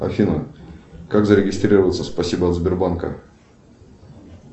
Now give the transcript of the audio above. афина как зарегистрироваться в спасибо от сбербанка